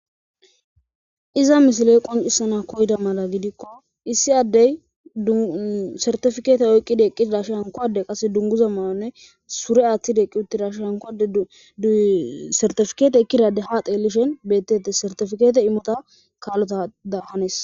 Iza misiley qoncisana koyda mala gidikko issi addey dsartifikeete oyqqidaeqqi dash hankowade qase dunguza mananne sure aaththideeqqi uttidash hankoade dsartifikeete ekkidade ha teelishen bettete sertifikeete imota kaallota da hanes.